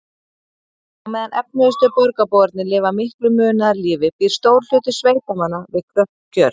Á meðan efnuðustu borgarbúarnir lifa miklu munaðarlífi býr stór hluti sveitamanna við kröpp kjör.